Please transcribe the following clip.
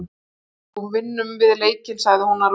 En þó, vinnum við leikinn sagði hún að lokum.